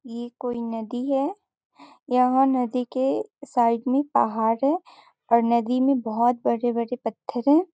ये कोई नदी है यहाँ नदी के साइड में एक पहाड़ है और नदी मे बहुत बड़े-बड़े पत्थर है।